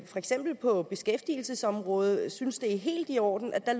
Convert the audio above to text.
eksempel på beskæftigelsesområdet synes at det er helt i orden at